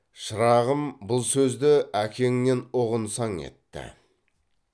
шырағым бұл сөзді әкеңнен ұғынсаң етті